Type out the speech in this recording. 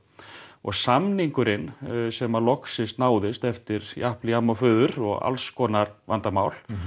og samningurinn sem loks náðist eftir japl jamm og fuður og alls konar vandamál